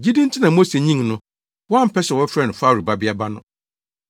Gyidi nti na Mose nyin no, wampɛ sɛ wɔbɛfrɛ no Farao babea ba no.